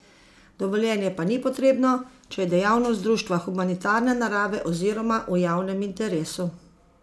Dovoljenje pa ni potrebno, če je dejavnost društva humanitarne narave oziroma v javnem interesu.